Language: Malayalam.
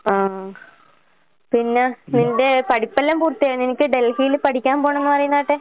ആഹ്. പിന്നാ നിന്റെ പഠിപ്പെല്ലാം പൂർത്തിയായാ? നിനക്ക് ഡെൽഹീല് പഠിക്കാൻ പോണന്ന് പറയുന്ന കേട്ടെ?